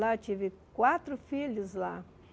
Lá eu tive quatro filhos lá.